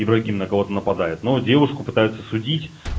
ибрагим на кого-то нападает но девушку пытаются судить